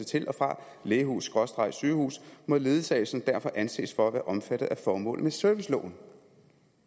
til og fra lægehussygehus må ledsagelsen derfor anses for at være omfattet af formålet med serviceloven